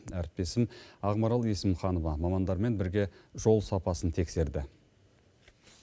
әріптесім ақмарал есімханова мамандармен бірге жол сапасын тексерді